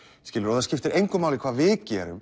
skilurðu og það skiptir engu máli hvað við gerum